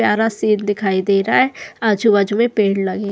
प्यारा सीन दिखाई दे रहा है आजू बाजू में पेड़ लगे --